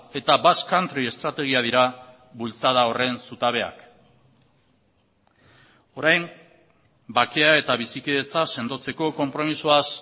eta basque country estrategia dira bultzada horren zutabeak orain bakea eta bizikidetza sendotzeko konpromisoaz